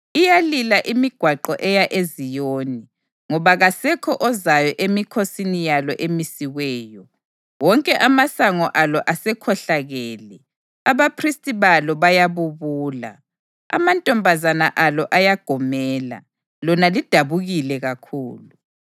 Iyalila imigwaqo eya eZiyoni, ngoba kasekho ozayo emikhosini yalo emisiweyo. Wonke amasango alo asekhohlakele, abaphristi balo bayabubula, amantombazana alo ayagomela, lona lidabukile kakhulu.